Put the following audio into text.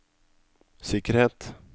sikkerhet